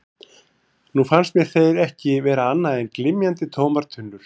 Nú fannst mér þeir ekki vera annað en glymjandi, tómar tunnur.